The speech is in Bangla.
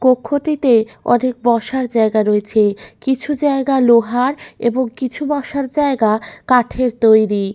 কক্ষটিতে অনেক বসার জায়গা রয়েছে কিছু জায়গা লোহার এবং কিছু বসার জায়গা কাঠের তৈরি।